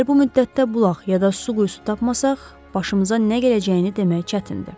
Əgər bu müddətdə bulaq yada su quyusu tapmasaq, başımıza nə gələcəyini demək çətindir.